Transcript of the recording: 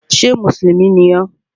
Ṣé mùsùlùmí ni ọ?